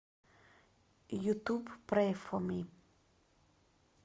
ютуб прэй фо ми